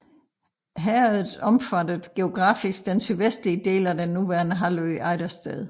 Herredet omfattede geografisk den sydvestlige del af den nuværende halvø Ejdersted